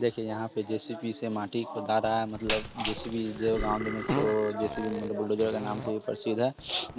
देखे के यहाँ पे जे_सी_बी से माटी खुदा रहा है मतलब जे_सी_बी जो गाँव मे इसको मशीन जे_सी_बी मतलब बुलडोजर के नाम से भी प्रसिद्ध है